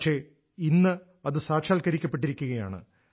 പക്ഷെ ഇന്നത് സാക്ഷാത്ക്കരിക്കപ്പെട്ടിരിക്കയാണ്